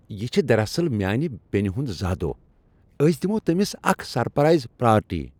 یہ چھ دراصل میانہ بینہ ہنٛد زا دوہ۔ أسۍ دِمو تٔمس اکھ سرپرائز پارٹی۔